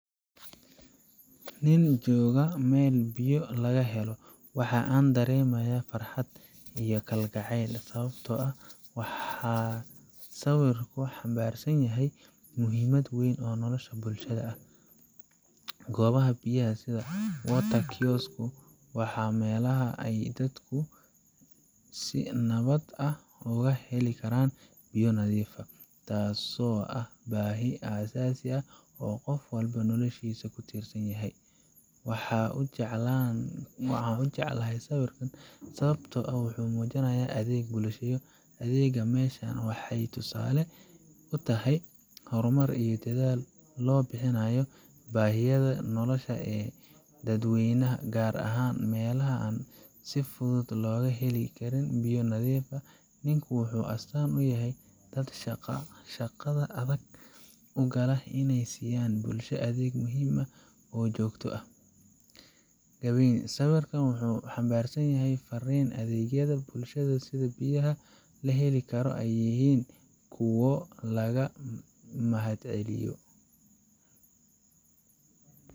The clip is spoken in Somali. nin jooga meel biyo laga helo, waxa aan dareemayaa farxad iyo kalgacayl sababtoo ah waxa uu sawirku xambaarsan yahay muhiimad weyn oo nolosha bulshada ah. Goobaha biyaha sida water kiosk ku waaxa meelaha ay dadku si nabad ah uga heli karaan biyo nadiif ah, taasoo ah baahi aasaasi ah oo qof walba noloshiisa ku tiirsan tahay. Waxaan u jeclahay sawirkan sababtoo ah wuxuu muujinayaa adeeg bulshada u adeega meeshaan waxay tusaale u tahay horumar iyo dadaal lagu bixinayo baahiyaha nolosha ee dadweynaha, gaar ahaan meelaha aan si fudud looga helin biyo nadiif ah. Ninku wuxuu astaan u yahay dad shaqada adag u gala inay siiyaan bulshada adeeg muhiim ah oo joogto ah. Gabagabadii, sawirkan waxa uu xambaarsan yahay fariin ah in adeegyada nolosha sida biyaha la heli karo ay yihiin kuwo laga mahadceliyo.